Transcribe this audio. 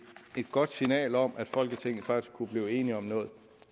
godt signal om at folketinget faktisk kunne blive enige om noget